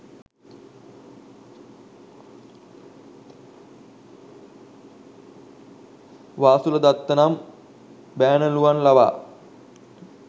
වාසුලදත්ත නම් බෑණනුවන් ලවා